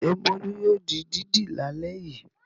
Ṣé Bólú yóò di dídì lálẹ́ yìí?